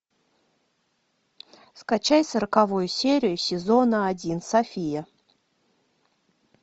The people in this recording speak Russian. скачай сороковую серию сезона один софия